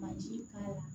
Baji k'a la